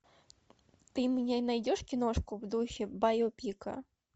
ты мне найдешь киношку в духе байопика